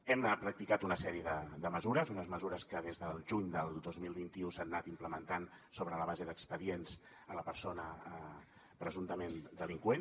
hem practicat una sèrie de mesures unes mesures que des del juny del dos mil vint u s’han anat implementant sobre la base d’expedients a la persona presumptament delinqüent